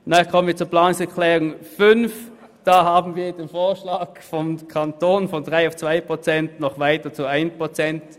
Zum Antrag 5: Hier wollen wir noch weitergehen und auf 1 Prozent senken, während der Kanton von 3 auf 2 Prozent gehen möchte.